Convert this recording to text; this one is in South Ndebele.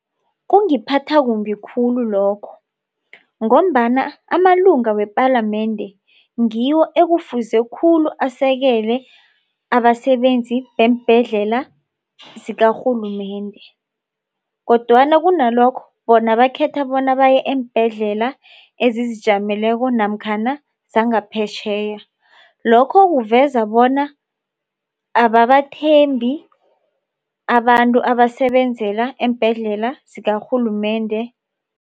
Kungiphatha kumbi khulu lokho ngombana amalunga wepalamende ngiwo ekufuze khulu asekele abasebenzi beembhedlela zikarhulumende. Kodwana kunalokho bona bakhetha bona baye eembhedlela ezizijameleko namkhana zangaphetjheya. Lokho kuveza bona ababathembi abantu abasebenzela eembhedlela zikarhulumende.